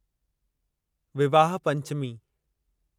Vivah Panchami